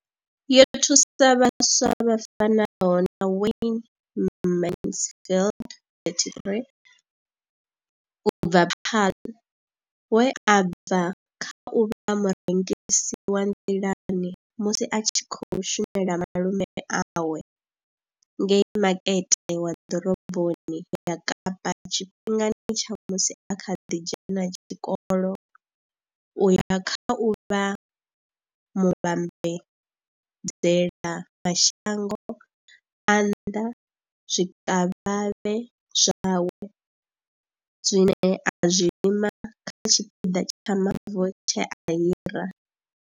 Yo thusa vhaswa vha fanaho na Wayne Mansfield 33 u bva Paarl, we a bva kha u vha murengisi wa nḓilani musi a tshi khou shumela malume awe ngei makete wa ḓoroboni ya kapa tshifhingani tsha musi a kha ḓi dzhena tshikolo u ya kha u vha muvhambadzela mashango a nnḓa zwikavhavhe zwawe zwine a zwi lima kha tshipiḓa tsha mavu tshe a hira.